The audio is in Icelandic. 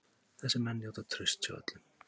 Þessir menn njóta trausts hjá öllum.